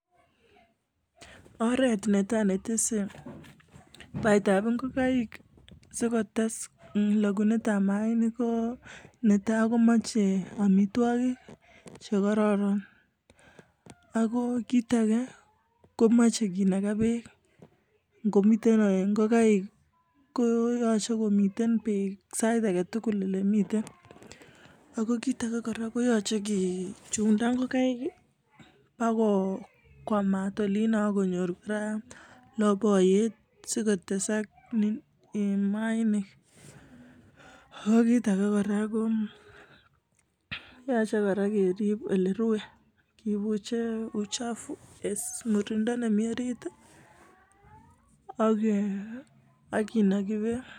oret noto netisie baet ab ngokaik kolok mayainik ko netai ko mche amitwogok che kororonako kit age komache kinaka bek sait age tugul eng ole mitei ako kit age ko yachei kechunda koba olin si konyor baiboyet asi kotesak mayainik akokit age kora ko yachei kerib ole menyei. kebuche uchafu ak kinaki bek